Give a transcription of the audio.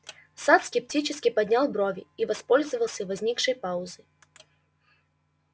сатт скептически поднял брови и воспользовался возникшей паузой